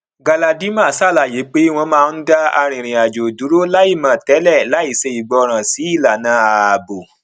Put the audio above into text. galadima ṣàlàyé pé wọn máa ń dá arìnrìnàjò dúró láìmọ tẹlẹ láìṣe ìgbọràn sí ìlànà ààbò